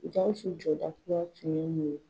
GAWUSU jɔda tun mun ye?